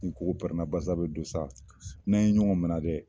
Ni kogo pɛrɛn na basa bɛ don sa n'an ye ɲɔgɔn mina dɛ.